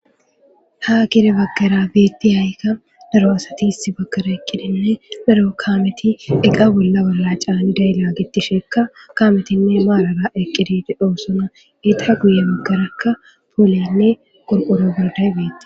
ha kire baggara biitti haayikka daro asati iss baggara eqqidinne daro kaameti eqa bolla balla caani dayila gitti shekka kaametinne maalara eqqidi dhoosona eta guye baggarakka pooliyanne gor7oro gorday biitti